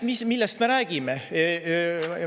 Millest me räägime?